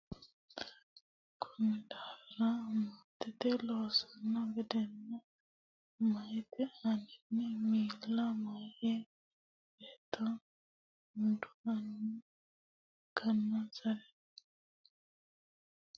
Konni daafira maatete loosanno gedenna meyate aaninni miilla meya beetto duhanno ikkinonsare loosu duhi shaalanno gede jawaante kaa lama gidde ikkitanno.